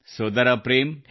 ಸೋದರ ಪ್ರೇಮ್